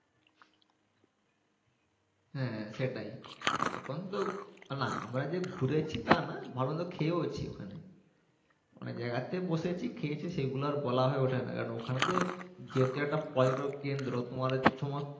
হ্যা সেটাই এতক্ষণ তো না আমরা যে ঘুরেছি তা না ভালোমন্দ খেয়েওছি ওখানে ওখানে যেয়ে বসেছি খেয়েছি সেইগুলা আর বলা হয়ে উঠে না কারন ওখানে তো যেহেতু একটা পর্যটক কেন্দ্র তোমাদের সমস্ত